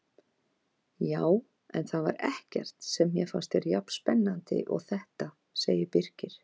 Já, en það var ekkert sem mér fannst vera jafn spennandi og þetta sagði Birkir.